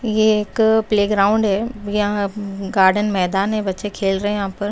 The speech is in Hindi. यह एक प्लेग्राउंड है यहां गार्डन मैदान है बच्चे खेल रहे हैं यहां पर।